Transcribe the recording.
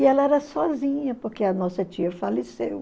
E ela era sozinha, porque a nossa tia faleceu.